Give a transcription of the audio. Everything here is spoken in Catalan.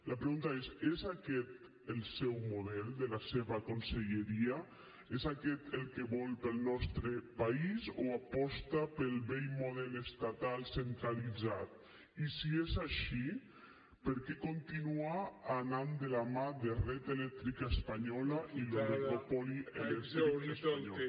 la pregunta és és aquest el seu model de la seva conselleria és aquest el que vol per al nostre país o aposta pel vell model estatal centralitzat i si és així per què continua anant de la mà de red eléctrica española i l’oligopoli elèctric espanyol